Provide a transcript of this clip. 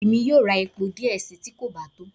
Emi yóò rá epó diẹ sii, ti kò ba to.